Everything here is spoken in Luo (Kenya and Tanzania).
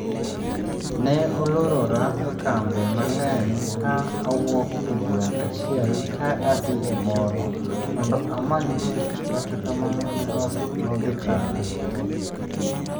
Ne olorora e kambe mang'eny ka awuok e gweng' achiel ka adhi e moro mondo amany tich kata kamano ne ok nodhi kare